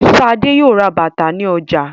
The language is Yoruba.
Ṣadé yóò ra bàtà ní ọjà.